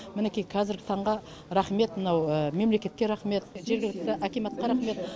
мінекей қазіргі таңға рахмет мынау мемлекетке рахмет жергілікті акиматқа рахмет